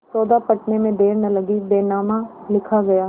सौदा पटने में देर न लगी बैनामा लिखा गया